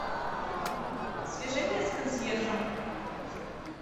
свяжи меня с консьержем